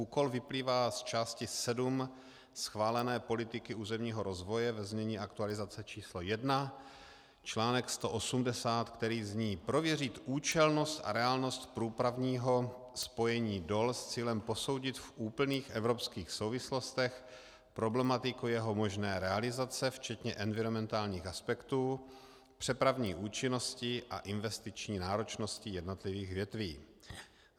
Úkol vyplývá z části 7 schválené politiky územního rozvoje ve znění aktualizace číslo 1, článek 180, který zní: Prověřit účelnost a reálnost průplavního spojení DOL s cílem posoudit v úplných evropských souvislostech problematiku jeho možné realizace včetně enviromentálních aspektů, přepravní účinnosti a investiční náročnosti jednotlivých větví.